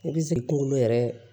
I bɛ sigi kungolo yɛrɛ